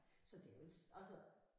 Så det jo ikke altså